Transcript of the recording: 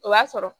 O b'a sɔrɔ